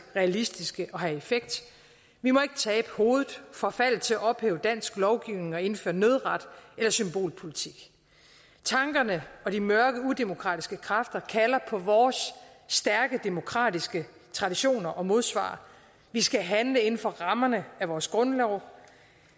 realistiske og have effekt vi må ikke tabe hovedet og forfalde til at ophæve dansk lovgivning og indføre nødret eller symbolpolitik tankerne og de mørke udemokratiske kræfter kalder på vores stærke demokratiske traditioner og modsvar vi skal handle inden for rammerne af vores grundlov